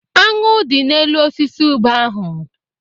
Aṅụ dị n'elu osisi ube ahụ.